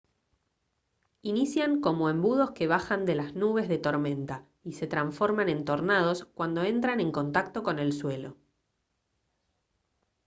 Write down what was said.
inician como embudos que bajan de las nubes de tormenta y se transforman en tornados cuando entran en contacto con el suelo